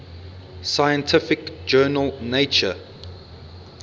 scientific journal nature